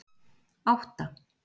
átta